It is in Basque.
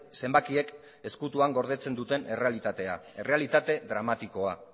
zenbakiek ezkutuan gordetzen duten errealitatea errealitate dramatikoa